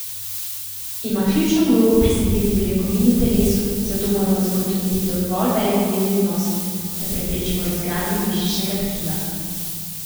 Ima ključno vlogo pri sintezi beljakovin v telesu, zato moramo zagotoviti dovolj velik dnevni vnos, da preprečimo razgradnjo mišičnega tkiva.